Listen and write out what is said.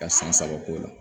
Ka san saba k'o la